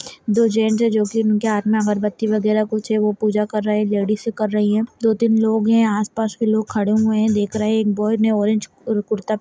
दो है उनके हाथ में अगरबत्ती वगरा कुछ है वो पूजा कर रहे है लेडिस कर रही है दो तीन लोग है आस पास के लोग खड़े हुए देख रहे है। एक बॉय ने ऑरेंज अ कुर्ता --